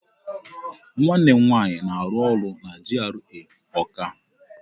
Nwanne m nwaanyị na-arụ ọrụ na GRA Ọọka.